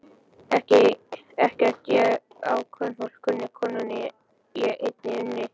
Ekkert ég á kvenfólk kunni, konunni ég einni unni.